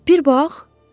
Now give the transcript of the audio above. Bir bax!